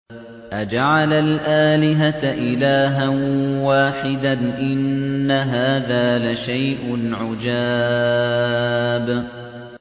أَجَعَلَ الْآلِهَةَ إِلَٰهًا وَاحِدًا ۖ إِنَّ هَٰذَا لَشَيْءٌ عُجَابٌ